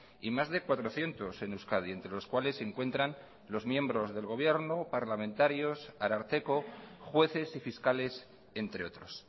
y más de cuatrocientos en euskadi entre los cuales se encuentran los miembros del gobierno parlamentarios ararteko jueces y fiscales entre otros